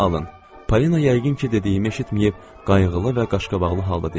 Polina yəqin ki, dediyimi eşitməyib, qayğılı və qaşqabaqlı halda dilləndi.